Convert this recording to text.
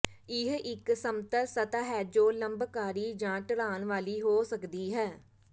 ਇਹ ਇਕ ਸਮਤਲ ਸਤਹ ਹੈ ਜੋ ਲੰਬਕਾਰੀ ਜਾਂ ਢਲਾਨ ਵਾਲੀ ਹੋ ਸਕਦੀ ਹੈ